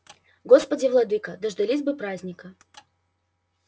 господи владыко дождались бы праздника